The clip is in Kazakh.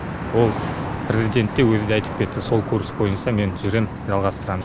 ол президент те өзі де айтып кетті сол курс бойынша мен жүрем жалғастырам